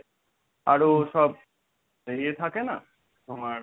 আরো সব বেরিয়ে থাকে না তোমার